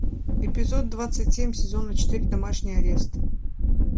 эпизод двадцать семь сезона четыре домашний арест